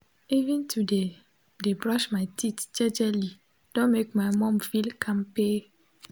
even to de de brush my teeth jejely don make my mom feel kampe